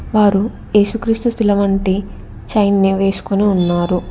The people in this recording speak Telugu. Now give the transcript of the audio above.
వారు ఏసుక్రీస్తు శిలవంటే సైన్యం వేసుకుని ఉన్నారు.